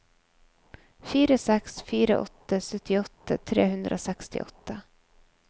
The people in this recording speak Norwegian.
fire seks fire åtte syttiåtte tre hundre og sekstiåtte